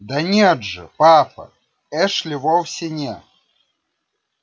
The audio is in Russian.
да нет же папа эшли вовсе не